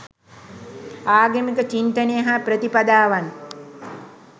ආගමික චින්තනය හා ප්‍රතිපදාවන්